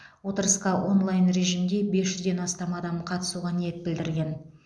отырысқа онлайн режимде бес жүзден астам адам қатысуға ниет білдірген